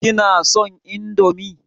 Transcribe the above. Kina son indomie?